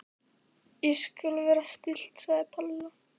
Ég skal vera stillt sagði Palla.